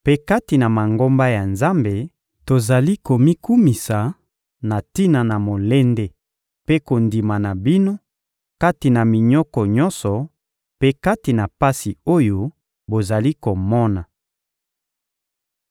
Mpe kati na Mangomba ya Nzambe, tozali komikumisa na tina na molende mpe kondima na bino kati na minyoko nyonso mpe kati na pasi oyo bozali komona.